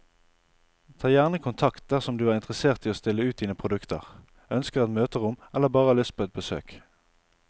Ta gjerne kontakt dersom du er interessert i å stille ut dine produkter, ønsker et møterom eller bare har lyst på et besøk.